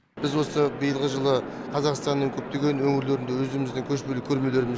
біз осы биылғы жылы қазақстанның көптеген өңірлерінде өзіміздің көшпелі көрмелерімізді